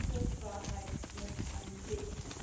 Die ganze Wahrheit muss ans Licht.